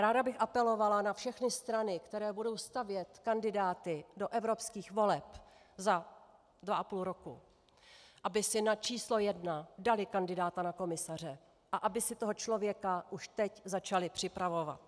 Ráda bych apelovala na všechny strany, které budou stavět kandidáty do evropských voleb za dva a půl roku, aby si na číslo jedna dali kandidáta na komisaře a aby si toho člověka už teď začali připravovat.